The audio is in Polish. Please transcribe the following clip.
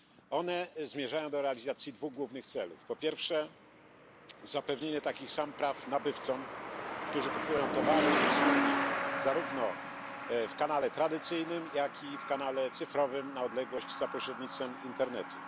One zmierzają do realizacji dwóch głównych celów Po pierwsze, zapewnienia takich samych praw nabywcom, którzy kupują towary i usługi zarówno w kanale tradycyjnym, jak i w kanale cyfrowym na odległość za pośrednictwem internetu.